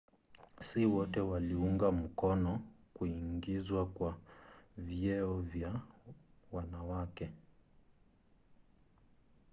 si wote waliunga mkono kuingizwa kwa vyeo vya wanawake